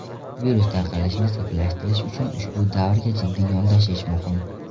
Virus tarqalishini sekinlashtirish uchun ushbu davrga jiddiy yondashish muhim.